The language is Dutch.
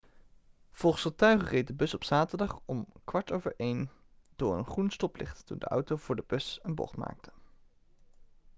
volgens getuigen reed de bus op zaterdag om 1.15 uur door een groen stoplicht toen de auto voor de bus een bocht maakte